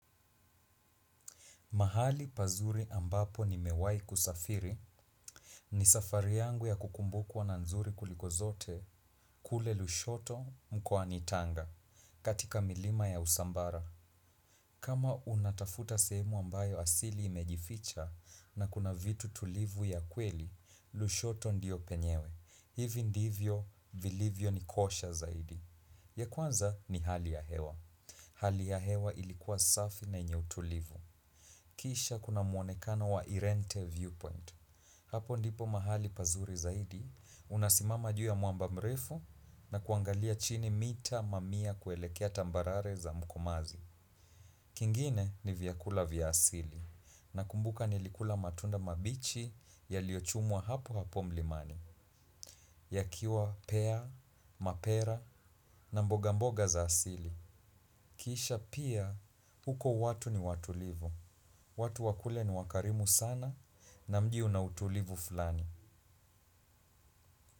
Mahali pazuri ambapo nimewai kusafiri ni safari yangu ya kukumbukuwa na nzuri kuliko zote kule Lushoto mkoani tanga katika milima ya usambara. Kama unatafuta sehemu ambayo asili imejificha na kuna vitu tulivu ya kweli, Lushoto ndiyo penyewe. Hivi ndivyo, vilivyonikosha zaidi. Ya kwanza ni hali ya hewa. Hali ya hewa ilikuwa safi na yenye utulivu. Kisha kuna muonekano wa irente viewpoint. Hapo ndipo mahali pazuri zaidi, unasimama juu ya mwamba mrefu na kuangalia chini mita mamia kuelekea tambarare za mkomazi. Kingine ni vyakula vya asili. Nakumbuka nilikula matunda mabichi yaliyochumwa hapo hapo mlimani. Yakiwa pea, mapera na mboga mboga za asili. Kisha pia, huko watu ni watulivu. Watu wa kule ni wakarimu sana na mji una utulivu fulani.